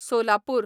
Solapur